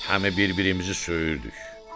Həmi bir-birimizi söyürdük.